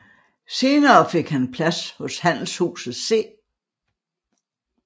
Senere fik han plads hos handelshuset C